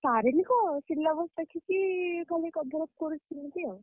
ସାରିଲି କଣ syllabus ଦେଖିକି ଖାଲି cover up କରୁଛି ସେମିତି ଆଉ।